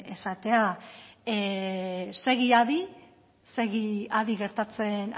esatea segi adi segi adi gertatzen